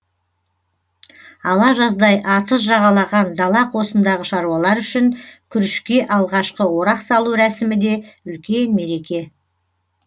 ала жаздай атыз жағалаған дала қосындағы шаруалар үшін күрішке алғашқы орақ салу рәсімі де үлкен мереке